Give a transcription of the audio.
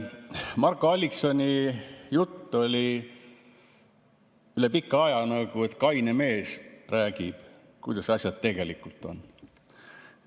Marko Alliksoni jutt oli üle pika aja selline, nagu kaine mees räägib, kuidas asjad tegelikult on.